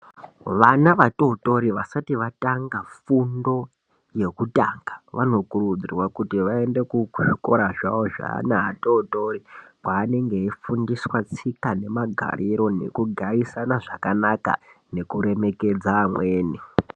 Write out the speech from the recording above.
Vana vatotori vasati vatanga fundo yekutanga vanokurudzirwa kuti vaende kuzvikora zvavo zveana atotori kweanenge eifundiswa tsika nemagariro nekugarisana zvakanaka nekuremekedza amweni.